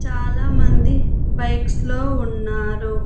చాలామంది బైక్స్ లో ఉన్నారు.